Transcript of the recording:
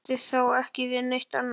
Hann átti þá ekki við neitt annað.